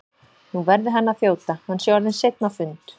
Nú verði hann að þjóta, hann sé orðinn seinn á fund.